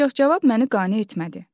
Ancaq cavab məni qane etmədi.